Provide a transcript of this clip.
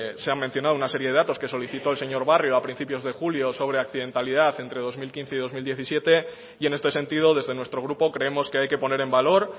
se han mencionado una serie de datos que solicitó el señor barrio a principios de julio sobre accidentalidad entre dos mil quince y dos mil diecisiete y en este sentido desde nuestro grupo creemos que hay que poner en valor